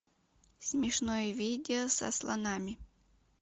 смешное видео со слонами